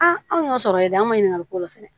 anw y'o sɔrɔ yɛrɛ an ma ɲininkali k'o la fɛnɛ